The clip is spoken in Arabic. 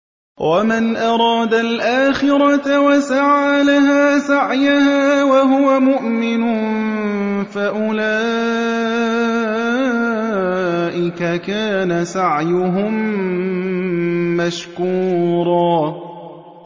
وَمَنْ أَرَادَ الْآخِرَةَ وَسَعَىٰ لَهَا سَعْيَهَا وَهُوَ مُؤْمِنٌ فَأُولَٰئِكَ كَانَ سَعْيُهُم مَّشْكُورًا